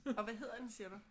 Og hvad hedder den siger du?